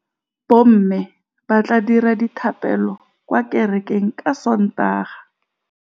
Bommê ba tla dira dithapêlô kwa kerekeng ka Sontaga.